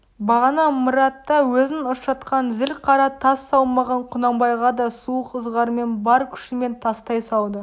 бағана ымыртта өзін ыршытқан зіл қара тас салмағын құнанбайға да суық ызғармен бар күшімен тастай салды